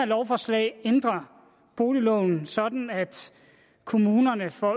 lovforslaget ændrer boligloven sådan at kommunerne får